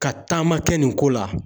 Ka taama kɛ nin ko la.